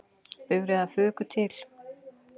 Bifreiðar fuku til